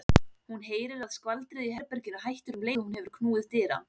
Hún heyrir að skvaldrið í herberginu hættir um leið og hún hefur knúið dyra.